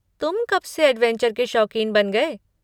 तुम कब से ऐड्वेंचर के शौकीन बन गए?